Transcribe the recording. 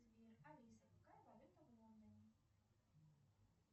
сбер алиса какая валюта в лондоне